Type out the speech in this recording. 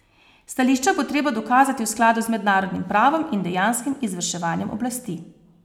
Stališča bo treba dokazati v skladu z mednarodnim pravom in dejanskim izvrševanjem oblasti.